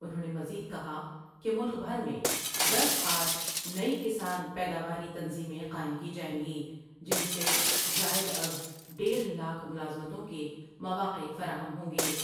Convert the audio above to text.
انہوں نے مزید کہا کہ ملک بھر میں دس ہارنی کسان پیداواری تنظیمیں قائم کی جائیں گی جن سے زائداز دیڑھ لاکھ ملازمتوں کے مواقع فراہم ہوں گے ۔